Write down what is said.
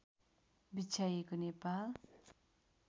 बिछ्याइएको Nepal